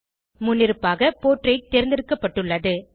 முன்னிருப்பாக போர்ட்ரெய்ட் தேர்ந்தெடுக்கப்பட்டுள்ளது